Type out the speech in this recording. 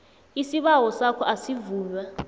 isibawo sakho asivunywa